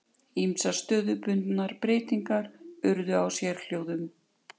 Ýmsar stöðubundnar breytingar urðu á sérhljóðum.